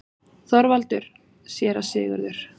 ÞORVALDUR: Séra Sigurður!